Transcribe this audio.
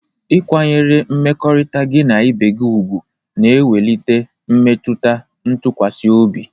Ịkwanyere mmekọrịta gị na ibe gị ùgwù na-ewulite mmetụta ntụkwasị obi